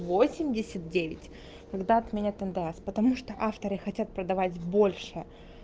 восемьдесят девять когда отменят ндс потому что авторы хотят продавать больше